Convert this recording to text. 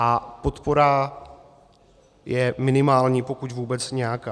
A podpora je minimální, pokud vůbec nějaká.